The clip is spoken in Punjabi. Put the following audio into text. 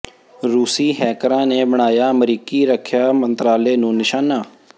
ਰੂਸੀ ਹੈਕਰਾਂ ਨੇ ਬਣਾਇਆ ਅਮਰੀਕੀ ਰੱਖਿਆ ਮੰਤਰਾਲੇ ਨੂੰ ਨਿਸ਼ਾਨਾ